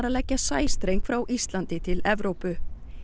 leggja sæstreng frá Íslandi til Evrópu